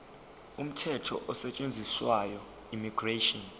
umthetho osetshenziswayo immigration